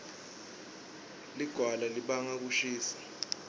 lilawga libanga kushisa